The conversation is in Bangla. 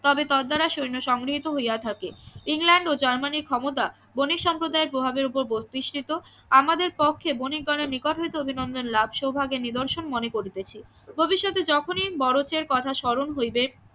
তবে তদ্ দ্বারা সৈন্য সংগৃহিত হইয়া থাকে ইংল্যান্ড ও জার্মানি ক্ষমতা বণিক সম্প্রদায়ের প্রভাব এর ওপর প্রতিষ্টিত আমাদের পক্ষে বণিকগণের নিকট হইতে অভিনন্দন লাভ সৌভাগ্যের নিদর্শন মনে করিতেছি ভবিষ্যতে যখনি কথা স্মরণ হইবে